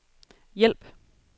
hjælp